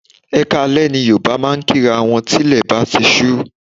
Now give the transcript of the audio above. Ẹ kaale ni Yorùbá máa ń kí'ra wọn tí ilè bá ti ṣú.